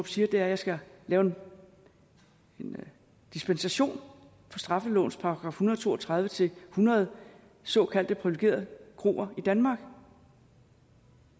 siger at jeg skal lave en dispensation fra straffelovens § en hundrede og to og tredive til hundrede såkaldte privilegerede kroer i danmark